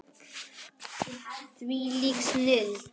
Þvílík snilld.